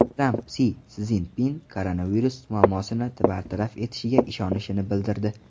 Tramp Si Szinpin koronavirus muammosini bartaraf etishiga ishonishini bildirdi.